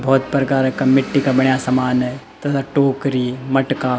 बहौत प्रकार का मिट्टी का बण्या सामान है तथा टोकरी मटका।